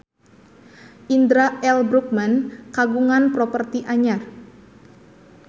Indra L. Bruggman kagungan properti anyar